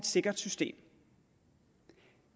sikkert system